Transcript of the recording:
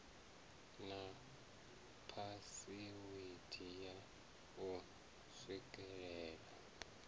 na phasiwede ya u swikelela